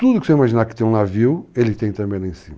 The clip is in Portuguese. Tudo que você imaginar que tem um navio, ele tem também lá em cima.